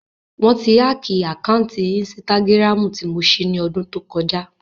Wọ́n ti hákìì àkáǹtì ínstágíráàmù tí mo ṣí ní ọdún tó kọjá